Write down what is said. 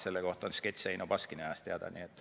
Selle kohta on sketš Eino Baskini ajast olemas.